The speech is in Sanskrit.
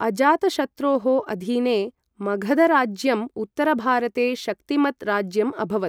अजातशत्रोः अधीने मगधराज्यम् उत्तरभारते शक्तिमत् राज्यम् अभवत्।